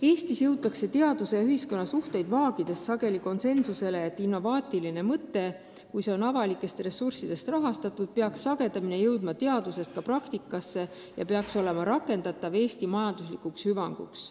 Eestis jõutakse teaduse ja ühiskonna suhteid vaagides sageli konsensusele, et innovaatiline mõte, kui seda rahastatakse avalikest ressurssidest, peaks sagedamini jõudma teadusest ka praktikasse ja peaks olema rakendatav Eesti majanduse hüvanguks.